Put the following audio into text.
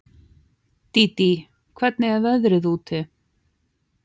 Dídí, hvernig er veðrið úti?